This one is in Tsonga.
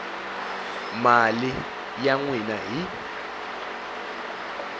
mali ya n wina hi